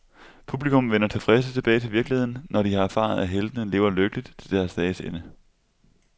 Publikum vender tilfredse tilbage til virkeligheden, når de har erfaret, at heltene lever lykkeligt til deres dages ende.